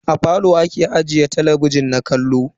A falo ake ajiye talabijin na kallo.